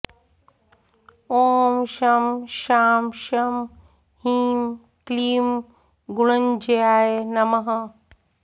ॐ शं शां षं ह्रीं क्लीं गुणञ्जयाय नमः